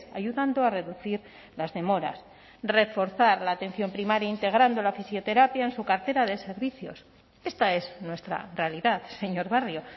ayudando a reducir las demoras reforzar la atención primaria integrando la fisioterapia en su cartera de servicios esta es nuestra realidad señor barrio